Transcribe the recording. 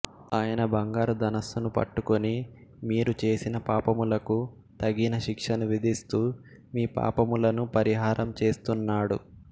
ఆయన బంగారు ధనుస్సును పట్టుకుని మీరు చేసిన పాపములకు తగిన శిక్షను విధిస్తూ మీ పాపములను పరిహారం చేస్తునాడు